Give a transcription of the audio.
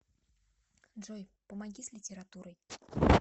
джой помоги с литературой